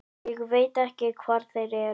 Ég veit ekki hvar þeir eru.